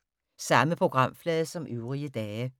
Samme programflade som øvrige dage